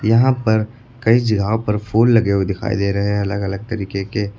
यहां पर कई जगहों पर फूल लगे हुए दिखाई दे रहे हैं अलग अलग तरीके के।